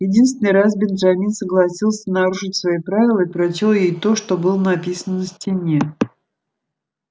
единственный раз бенджамин согласился нарушить свои правила и прочёл ей то что было написано на стене